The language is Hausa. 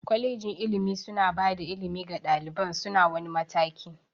Kwalegin ilimi suna bada ilimi ga ɗaliban su na wani mataki